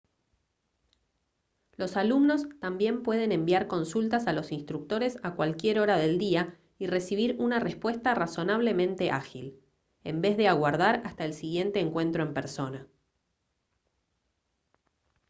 los alumnos también pueden enviar consultas a los instructores a cualquier hora del día y recibir una respuesta razonablemente ágil en vez de aguardar hasta el siguiente encuentro en persona